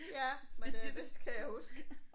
Ja men øh det skal jeg huske